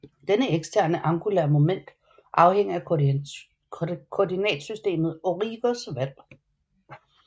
Denne eksterne angulær moment afhænger af koordinatsystemets origos valg